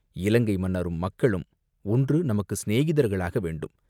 இலங்கை மன்னரும், மக்களும் ஒன்று நமக்குச் சிநேகிதர்களாக வேண்டும்.